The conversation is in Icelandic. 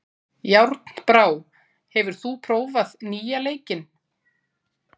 Járnbrá, hefur þú prófað nýja leikinn?